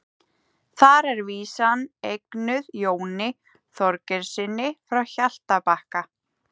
Þar er vísan eignuð Jóni Þorgeirssyni frá Hjaltabakka.